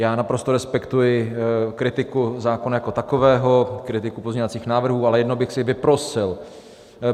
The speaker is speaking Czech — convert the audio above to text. Já naprosto respektuji kritiku zákona jako takového, kritiku pozměňovacích návrhů, ale jedno bych si vyprosil.